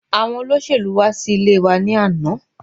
Àwọn olóṣèlú wá sí ilé wa ni àná